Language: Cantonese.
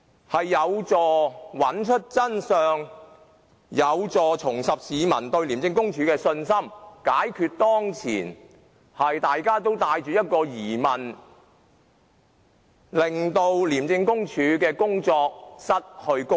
這樣有助找出真相，亦有助市民重拾對廉署的信心，解決當前大家對廉署失去公信力的疑問。